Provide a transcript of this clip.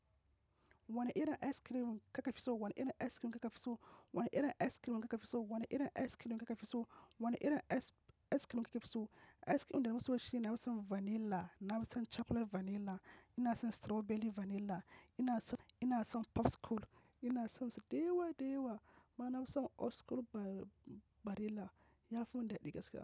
Wani irin ice cream ka ka fi so? Wani irin ice cream ka ka fi so? Wani irin ice cream ka ka fi so? Wani irin ice cream ka ka fi so? Wani irin ice-- ice cream ka ka fi so? Ice cream da na fi so shine na fi son vanilla, na fi son chocolate vanilla, inason strawberry vanilla, inaso-- inason popsicle, ina son su da yawa da yawa. Ma na fi son old school barilla. Yafi min daɗi gaskiya.